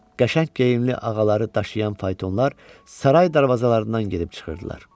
Qəşəng geyimli ağaları daşıyan faytonlar saray darvazalarından gedib çıxırdılar.